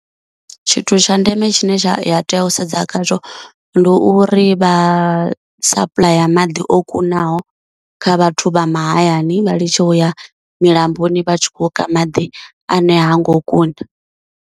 Tshithu tsha ndeme tshine tsha tea u sedza khazwo ndi uri vha sapuḽaya maḓi o kunaho kha vhathu vha mahayani, vha litshe uya milamboni vha tshi kho u ka maḓi ane ha ngo kuna.